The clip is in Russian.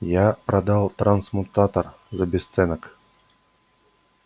я продал трансмутатор за бесценок